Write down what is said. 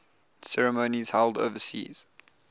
ceremonies held overseas